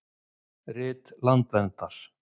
Rit landverndar.